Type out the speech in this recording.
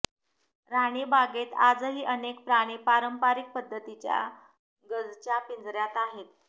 राणीबागेत आजही अनेक प्राणी पारंपरिक पद्धतीच्या गजच्या पिंजऱ्यात आहेत